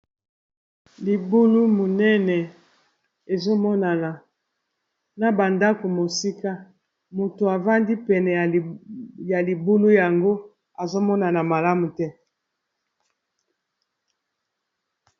Libulu munene ezomonana na ba ndako mosika moto avandi pene ya libulu yango azomonana malamu te.